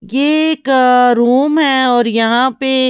यह एक रूम हैऔर यहां पे--